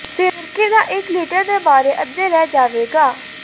ਸਿਰਕੇ ਦਾ ਇੱਕ ਲਿਟਰ ਦੇ ਬਾਰੇ ਅੱਧੇ ਲੈ ਜਾਵੇਗਾ